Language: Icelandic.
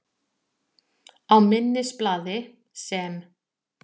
Á minnisblaði, sem